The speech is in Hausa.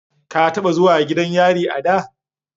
Ka taba zuwa gidan yari a da?